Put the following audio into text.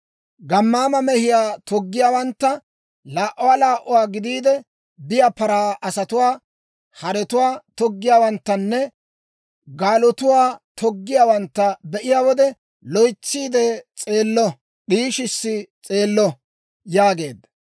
Gammaama mehiyaa toggiyaawantta, laa"uwaa laa"uwaa gidiide biyaa paraa asatuwaa, haretuwaa toggiyaawanttanne gaalotuwaa toggiyaawantta be'iyaa wode, loytsiide s'eello; d'ishi s'eello» yaageedda.